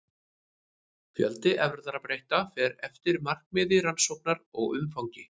Fjöldi erfðabreytileika fer eftir markmiði rannsóknar og umfangi.